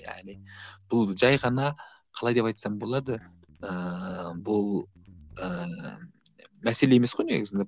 яғни бұл жай ғана қалай деп айтсам болады ыыы бұл ыыы мәселе емес қой негізінде